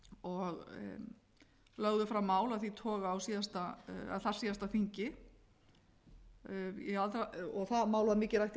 og lögðu fram mál af þeim toga á þarsíðasta þingi það mál var mikið rætt í